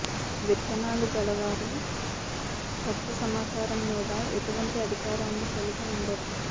విత్తనాలు గలవారు కొత్త సమాచారం మీద ఎటువంటి అధికారాన్ని కలిగి ఉండరు